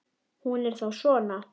Hún er þá svona!